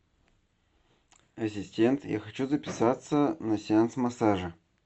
ассистент я хочу записаться на сеанс массажа